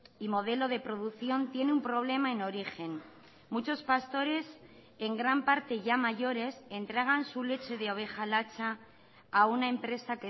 y modelo de producción tiene un problema en origen muchos pastores en gran parte ya mayores entregan su leche de oveja lacha a una empresa